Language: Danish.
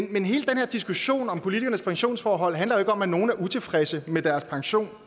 den her diskussion om politikernes pensionsforhold handler jo ikke om at nogle er utilfredse med deres pension